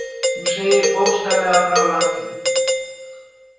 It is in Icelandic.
Hún segir bókstaflega frá öllu.